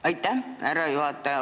Aitäh, härra juhataja!